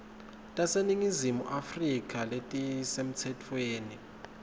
taseningizimu afrika letisemtsetfweni